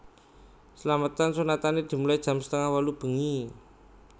Slametan sunatane dimulai jam setengah wolu bengi